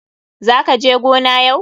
Za ka je gona yau?